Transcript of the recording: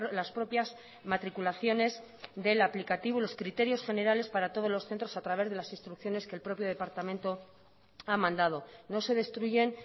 las propias matriculaciones del aplicativo y los criterios generales para todos los centros a través de las instrucciones que el propio departamento ha mandado no se destruyen